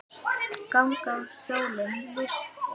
Ganga þá að sólinni vísri.